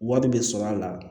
Wari bɛ sɔrɔ a la